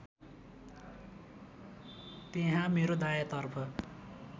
त्यहाँ मेरो दायाँतर्फ